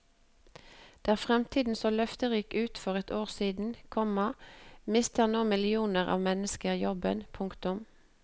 Der fremtiden så løfterik ut for et år siden, komma mister nå millioner av mennesker jobben. punktum